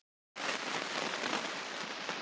Voru æfingarnar réttar?